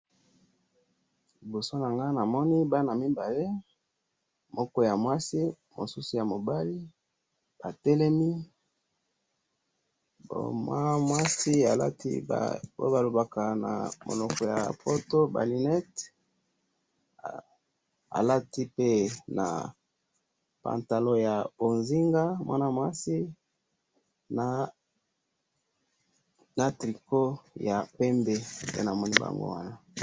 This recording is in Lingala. libosonanga awa namoni bana mibali moko ya mwasi mosusu ya mobali batelemi bo mwana mwasi alati wana balobaka na monoko yapoto ba linette a alatipe na pantalon ya onzinga mwanamwasi na tricon ya pembe ndenamoni bango wana